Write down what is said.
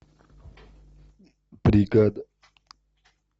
бригада